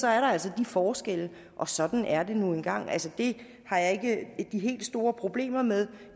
er der altså de forskelle og sådan er det nu engang det har jeg ikke de helt store problemer med